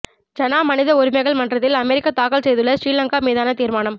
ஐநா மனித உரிமைகள் மன்றத்தில் அமெரிக்கா தாக்கல் செய்துள்ள சிறிலங்கா மீதான தீர்மானம்